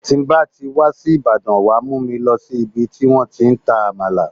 Tí ń bá ti wá sí Ìbàdàn, wàá mú mi lọ sí ibi tí wọ́n ti ń ta Àmàlà.